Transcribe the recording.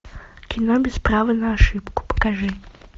кино без права на ошибку покажи